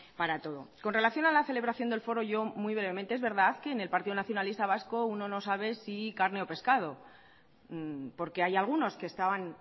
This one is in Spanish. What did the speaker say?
para todo con relación a la celebración del foro yo muy brevemente es verdad que en el partido nacionalista vasco uno no sabe si carne o pescado porque hay algunos que estaban